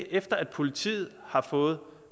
efter at politiet har fået